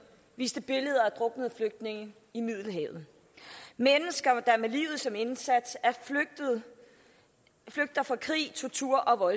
viste billeder af druknede flygtninge i middelhavet mennesker der med livet som indsats flygter fra krig tortur og